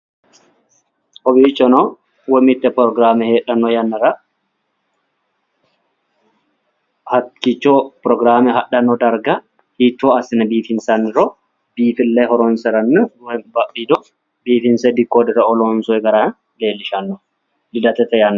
kowiichono woy mitte pirogiraame heedhannowa hakiicho pirogiraame hadhanno darga hiito assine biifinsanniro biifille horonsiranna woy badhiido biifinnse dekodere"o loonsoyi gara leelishanno lidate yanna